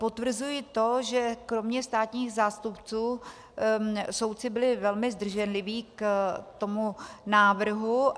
Potvrzuji to, že kromě státních zástupců soudci byli velmi zdrženliví k tomu návrhu.